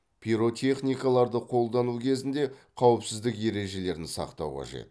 пиротехникаларды қолдану кезінде қауіпсіздік ережелерін сақтау қажет